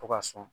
To ka sɔn